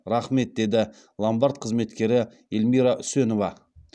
рахмет деді ломбард қызметкері елмира үсенова